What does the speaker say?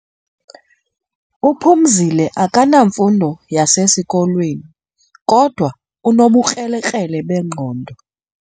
UPhumzile akanamfundo yasesikolweni kodwa unobukrelekrele bengqondo.